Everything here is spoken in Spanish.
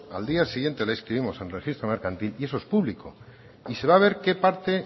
al día siguiente la inscribimos en el registro mercantil y eso es público y se va a ver qué parte